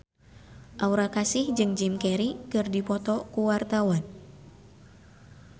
Aura Kasih jeung Jim Carey keur dipoto ku wartawan